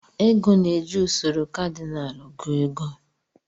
Ego na-eji usoro kadinal gụọ ego.